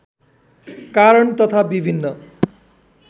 कारण तथा विभिन्न